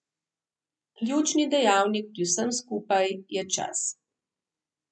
Ključni dejavnik pri vsem skupaj je čas.